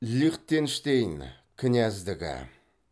лихтенштейн княздігі